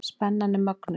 Spennan er mögnuð.